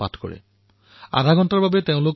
এইদৰে তেওঁলোক ৩০ মিনিটৰ বাবে নৰেন্দ্ৰ মোদী হৈ পৰে